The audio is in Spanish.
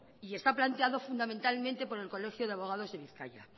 está planteado fundamentalmente por el colegio de abogados de bizkaia